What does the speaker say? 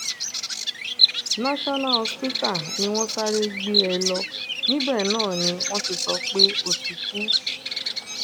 national hospital ni wọ́n sáré gbé um e lọ níbẹ̀ náà ni um wọ́n ti sọ pé ó ti kú